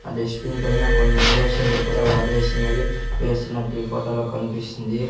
ఆ డెస్ట్బిన్ పైన కొన్ని ఇంజక్షన్లు కూడా వాడేసినవి వేసినట్టు ఈ ఫొటో లో కన్పిస్తుంది.